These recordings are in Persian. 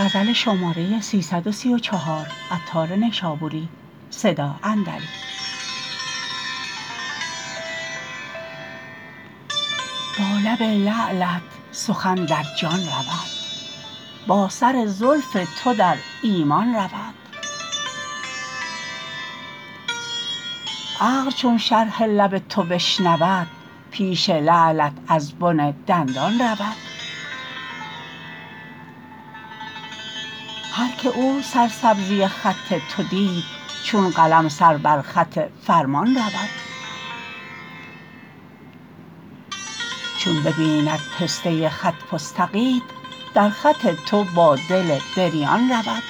با لب لعلت سخن در جان رود با سر زلف تو در ایمان رود عقل چون شرح لب تو بشنود پیش لعلت از بن دندان رود هر که او سرسبزی خط تو دید چون قلم سر بر خط فرمان رود چون ببیند پسته خط فستقیت در خط تو با دل بریان رود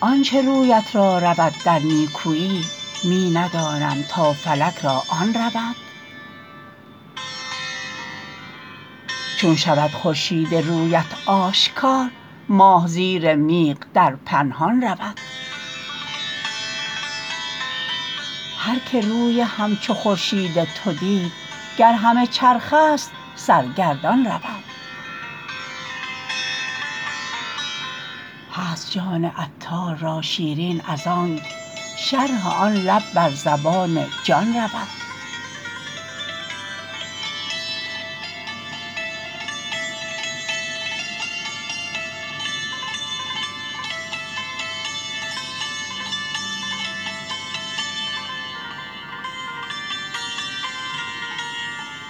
آنچه رویت را رود در نیکویی می ندانم تا فلک را آن رود چون شود خورشید رویت آشکار ماه زیر میغ در پنهان رود هر که روی همچو خورشید تو دید گر همه چرخ است سرگردان رود هست جان عطار را شیرین از آنک شرح آن لب بر زبان جان رود